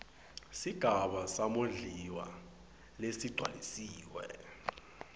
sigaba samondliwa lesigcwalisiwe